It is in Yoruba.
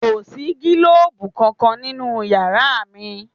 Kò sí gílòbú kankan nínú yàrá mi